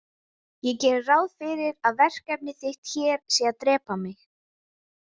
Ég geri ráð fyrir að verkefni þitt hér sé að drepa mig.